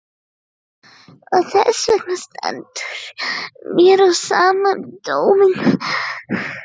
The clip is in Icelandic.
Og þessvegna stendur mér á sama um dóminn.